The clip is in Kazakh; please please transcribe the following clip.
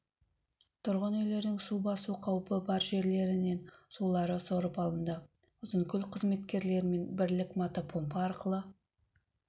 тұрғын үйлердің су басу қауіпі бар жерлерінен сулары сорып алынды ұзынкөл қызметкерлерімен бірлік мотопомпа арқылы